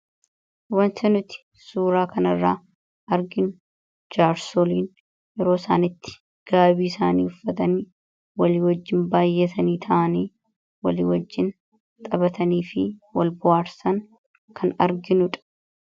Wanta nuti suuraa kan irraa arginu jaarsoliin yeroo isaan itti gaabii isaanii uffatanii wal wajjin baay'atanii ta'anii walii wajjiin taphatanii fi wal bohaarsan kan arginudha.